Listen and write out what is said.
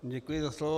Děkuji za slovo.